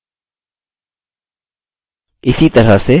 इसी तरह से